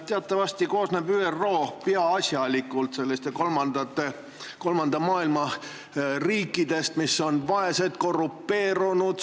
Teatavasti koosneb ÜRO peaasjalikult kolmanda maailma riikidest, mis on vaesed ja korrumpeerunud.